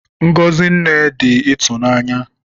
Ngọzi Nne dị ịtụnanya